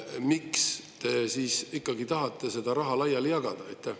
Miks te ikkagi tahate seda raha laiali jagada?